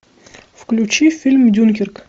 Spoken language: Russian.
включи фильм дюнкерк